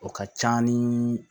O ka ca ni